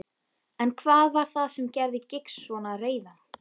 En hvað var það sem gerði Giggs svona reiðan?